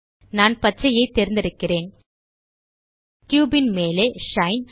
நான் பச்சையைத் தேர்ந்தெடுக்கிறேன் கியூப் ன் மேலே ஷைன்